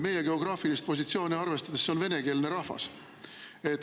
Meie geograafilist positsiooni arvestades on see venekeelne rahvas.